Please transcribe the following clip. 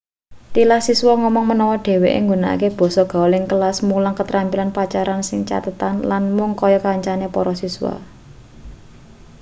tilas siswa ngomong menawa dheweke nggunakake basa gaul ing kelas mulang ketrampilan pacaran ing catetan lan mung kaya kancane para siswa